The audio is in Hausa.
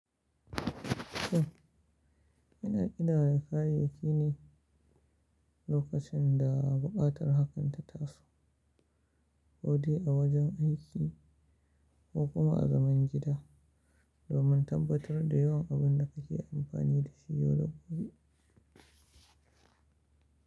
Shin yana ƙidaya kayayyaki ne lokacin da buƙatar hakan ta taso, ko dai a wajen aiki ko kuma a zaman gida, domin tabbatar da yawan abin da kake amfani da shi yau da gobe?